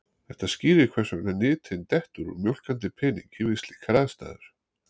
Þetta skýrir hvers vegna nytin dettur úr mjólkandi peningi við slíkar aðstæður.